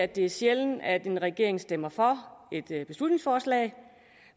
det er sjældent at en regering stemmer for et beslutningsforslag